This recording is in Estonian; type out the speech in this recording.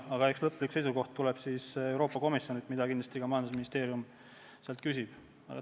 Aga eks lõplik seisukoht tuleb Euroopa Komisjonilt, mida majandusministeerium kindlasti ka küsib.